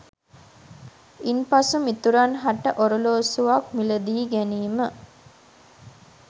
ඉන් පසු මිතුරන් හට ඔරලෝසුවක් මිලදී ගැනීම